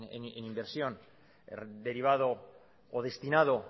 en inversión derivado o destinado